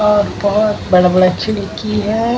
और बहुत बड़ा-बड़ा खिड़की है ।